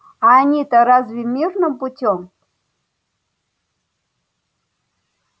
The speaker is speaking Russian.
а они-то разве мирным путём